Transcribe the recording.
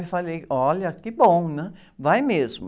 Eu falei, olha, que bom, né? Vai mesmo.